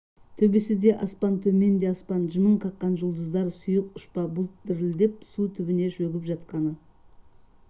төбеңі де аспан төмен де аспан жымың қаққан жұлдыздар сұйық ұшпа бұлт дірілдеп су түбінде шөгіп жатқаны